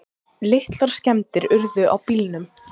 Litlar skemmdir urðu á bílnum.